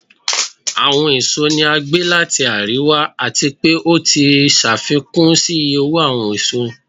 Awọn èsó ni a gbe lati ariwa, ati pe o ti ṣafikun si iye owo awọn èsó.